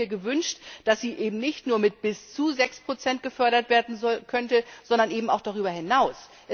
Ich hätte mir gewünscht, dass sie eben nicht nur mit bis zu 6 gefördert werden könnte, sondern auch darüber hinaus.